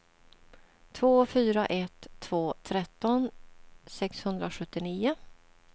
två fyra ett två tretton sexhundrasjuttionio